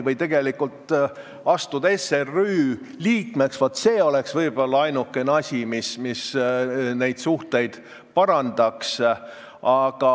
Kui me astuksime SRÜ liikmeks, siis vaat see oleks võib-olla ainukene asi, mis suhteid parandaks.